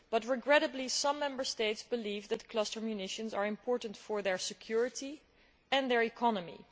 Regrettably some Member States believe that cluster munitions are important for their security and their economy.